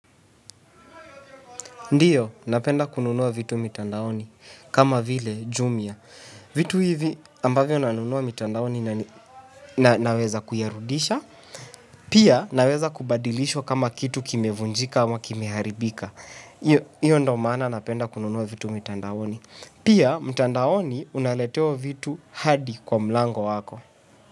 Ndiyo, napenda kununua vitu mitandaoni kama vile jumia. Vitu hivi ambavyo na nunua mitandaoni naweza kuyarudisha. Pia, naweza kubadilishwa kama kitu kimevunjika ama kimeharibika. Iyo ndo maana napenda kununua vitu mitandaoni. Pia mtandaoni unaletewa vitu hadi kwa mlango wako.